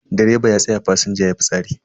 Direba ya tsaya fasinja yayi fitsari.